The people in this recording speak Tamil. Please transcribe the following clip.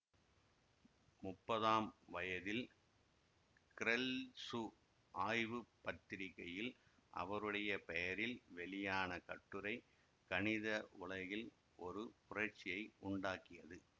முப்பதாம் வயதில் கிரெல்சு ஆய்வுப்பத்திரிகையில் அவருடைய பெயரில் வெளியான கட்டுரை கணித உலகில் ஒரு புரட்சியை உண்டாக்கியது